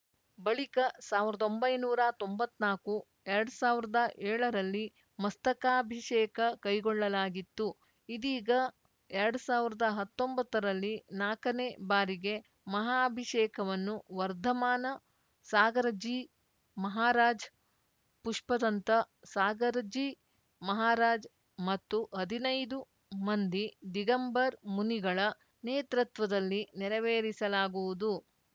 ಬಳಿಕ ಸಾವಿರದ ಒಂಬೈನೂರ ತೊಂಬತ್ ನಾಕುಎರಡ್ ಸಾವಿರದ ಏಳರಲ್ಲಿ ಮಸ್ತಕಾಭಿಷೇಕ ಕೈಗೊಳ್ಳಲಾಗಿತ್ತು ಇದೀಗ ಎರಡ್ ಸಾವಿರದ ಹತ್ತೊಂಬತ್ತರಲ್ಲಿ ನಾಕನೇ ಬಾರಿಗೆ ಮಹಾಭಿಷೇಕವನ್ನು ವರ್ಧಮಾನ ಸಾಗರಜೀ ಮಹಾರಾಜ್‌ ಪುಷ್ಪದಂತ ಸಾಗರ್‌ಜೀ ಮಹಾರಾಜ್‌ ಮತ್ತು ಹದಿನೈದು ಮಂದಿ ದಿಗಂಬರ್ ಮುನಿಗಳ ನೇತೃತ್ವದಲ್ಲಿ ನೆರವೇರಿಸಲಾಗುವುದು